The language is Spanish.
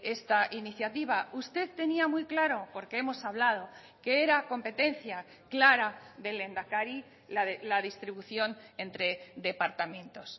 esta iniciativa usted tenía muy claro porque hemos hablado que era competencia clara del lehendakari la distribución entre departamentos